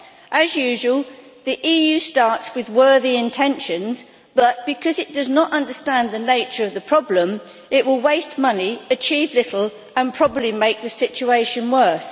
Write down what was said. As usual, the EU starts with worthy intentions but, because it does not understand the nature of the problem, it will waste money, achieve little and probably make the situation worse.